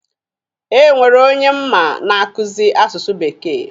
E nwere onye m ma na-akuzi asụsụ bekee.